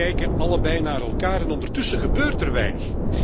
Ze kijken allebei naar elkaar en ondertussen gebeurt er weinig.